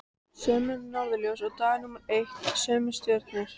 Sömu norðurljós og dag númer eitt, sömu stjörnur.